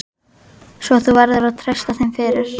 Svo þú verður að treysta þeim fyrir.